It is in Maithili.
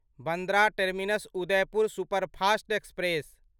Bandra terminus Udaipur superfast express